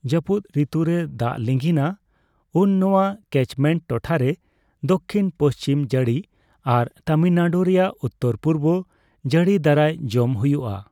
ᱡᱟᱹᱯᱩᱫ ᱨᱤᱛᱩᱨᱮ ᱫᱟᱜᱽ ᱞᱤᱸᱜᱤᱱᱼᱟ ᱩᱱ ᱱᱚᱣᱟ ᱠᱮᱪᱢᱮᱱᱴ ᱴᱚᱴᱷᱟᱨᱮ ᱫᱚᱠᱠᱷᱤᱱᱼᱯᱚᱪᱷᱤᱢ ᱡᱟᱹᱲᱤ ᱟᱨ ᱛᱟᱢᱤᱞᱱᱟᱰᱩ ᱨᱮᱭᱟᱜ ᱩᱛᱛᱚᱨᱼᱯᱩᱨᱵᱚ ᱡᱟᱹᱲᱤ ᱫᱟᱨᱟᱭ ᱡᱚᱢ ᱦᱳᱭᱳᱜᱼᱟ ᱾